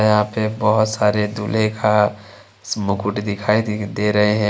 यहां पे बहुत सारे दूल्हे का स मुकुट दिखाई द दे रहे हैं।